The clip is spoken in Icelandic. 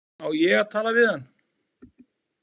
Á ég að tala við hann?